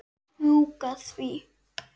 Strjúka því.